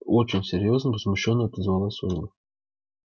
очень серьёзно возмущённо отозвалась ольга